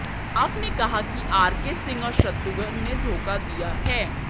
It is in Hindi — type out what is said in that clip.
राव ने कहा कि आरके सिंह और शत्रुघ्न ने धोखा दिया है